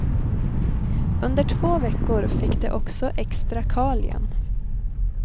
Under två veckor fick de också extra kalium.